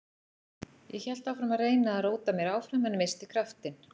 Ég hélt áfram að reyna að róta mér áfram en missti kraftinn.